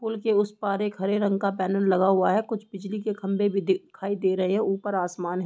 pool के उस पार एक हरे रंग का पैनल लगा हुआ है | कुछ बिजली के खम्बे भी दिखाई दे रहे हैं | ऊपर आसमान है |